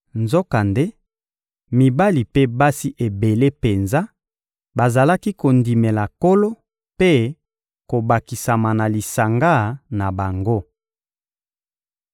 Nzokande, mibali mpe basi ebele penza bazalaki kondimela Nkolo mpe kobakisama na lisanga na bango.